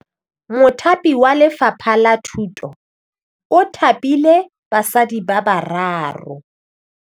Mothapi wa Lefapha la Thutô o thapile basadi ba ba raro.